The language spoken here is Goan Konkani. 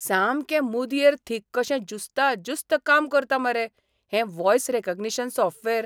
सामकें मुदयेर थीक कशें ज्युस्ता ज्युस्त काम करता मरे हें व्हॉयस रॅकग्निशन सॉफ्टवॅर!